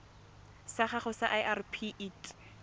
sa gago sa irp it